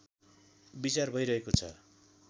विचार भइरहेको छ